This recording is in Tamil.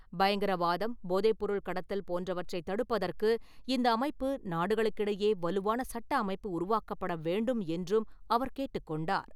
பயங்கரவாதம், போதைப்பொருள் கடத்தல் போன்றவற்றை தடுப்பதற்கு இந்த அமைப்பு நாடுகளுக்கிடையே வலுவான சட்ட அமைப்பு உருவாக்கப்பட வேண்டும் என்றும் அவர் கேட்டுக்கொண்டார்.